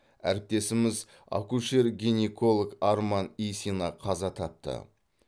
әріптесіміз акушер гинеколог арман исина қаза тапты